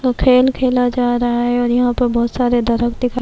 کھل کھلا جا رہا ہے اور یھاں پر بہت سارے درخت --